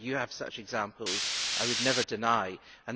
I know you have such examples and I would never deny this.